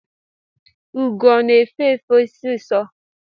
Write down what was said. Ụgọ ọ na-efe efe sisọ?